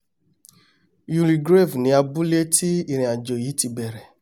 youlegrave ni abúlé tí ìrìnàjò yìí ti bẹ̀rẹ̀